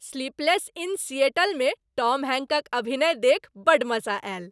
"Sleepless in Seattle" मे Tom Hanks अभिनय देखि बड्ड मजा आयल।